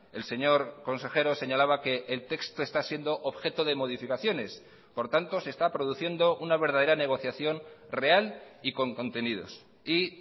el señor consejero señalaba que el texto está siendo objeto de modificaciones por tanto se está produciendo una verdadera negociación real y con contenidos y